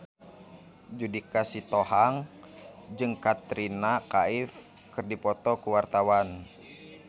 Judika Sitohang jeung Katrina Kaif keur dipoto ku wartawan